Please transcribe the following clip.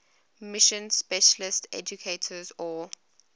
mission specialist educators or